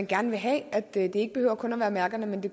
gerne vil have at det ikke behøver kun at være mærker men at det